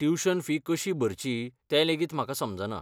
Tuition fee कशी भरची तें लेगीत म्हाका समजना.